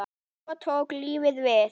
Svo tók lífið við.